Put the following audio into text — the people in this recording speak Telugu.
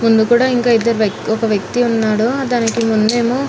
ముందు కూడా ఇంకా ఇద్దరు ఒక వ్యక్తి ఉన్నాడు దానికి ముందేమో --